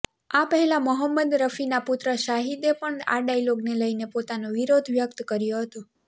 આ પહેલાં મોહમ્મદ રફીના પુત્ર શાહિદે પણ આ ડાયલોગને લઈને પોતાનો વિરોધ વ્યક્ત કર્યો હતો